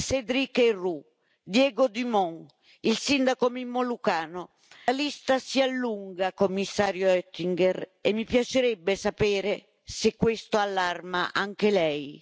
Cédric Herrou, Diego Dumont, il sindaco Mimmo Lucano, la lista si allunga, Commissario Oettinger, e mi piacerebbe sapere se questo allarma anche Lei.